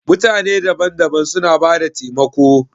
Mutane daban-daban suna bada taimako.